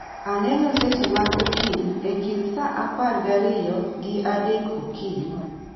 Aneno seche mag okinyi e kind saa apar gariyo gi adek okinyi